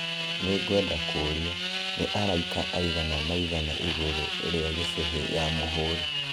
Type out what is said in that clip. Nĩ ngwenda kũũria, nĩ araika aigana mangĩina igũrũ rĩa gĩcũhĩ ya mũhũũri